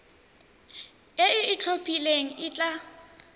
e e itlhophileng e tla